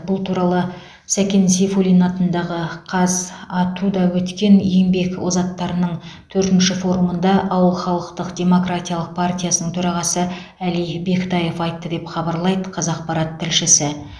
бұл туралы сәкен сейфуллин атындағы қазату де өткен еңбек озаттарының төртінші форумында ауыл халықтық демократиялық партиясының төрағасы әли бектаев айтты деп хабарлайды қазақпарат тілшісі